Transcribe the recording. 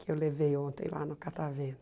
Que eu levei ontem lá no Catavento.